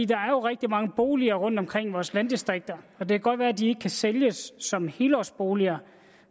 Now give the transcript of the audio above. der er jo rigtig mange boliger rundtomkring i vores landdistrikter og det kan godt være de ikke kan sælges som helårsboliger